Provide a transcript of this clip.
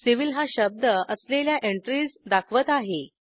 civilहा शब्द असलेल्या एंट्रीज दाखवत आहे